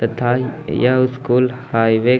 यह school highway --